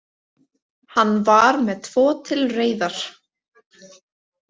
Hann var með tvo til reiðar.